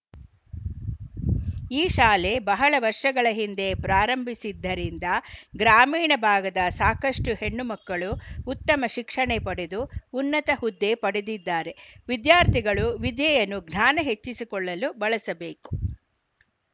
ಈ ಶಾಲೆ ಬಹಳ ವರ್ಷಗಳ ಹಿಂದೆ ಪ್ರಾರಂಭಿಸಿದ್ದರಿಂದ ಗ್ರಾಮೀಣ ಭಾಗದ ಸಾಕಷ್ಟುಹೆಣ್ಣು ಮಕ್ಕಳು ಉತ್ತಮ ಶಿಕ್ಷಣೆ ಪಡೆದು ಉನ್ನತ ಹುದ್ದೆ ಪಡೆದಿದ್ದಾರೆ ವಿದ್ಯಾರ್ಥಿಗಳು ವಿದೆಯನ್ನು ಜ್ಞಾನ ಹೆಚ್ಚಿಸಿಕೊಳ್ಳಲು ಬಳಸಬೇಕು